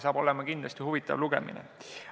Saaks olema kindlasti huvitav lugemine.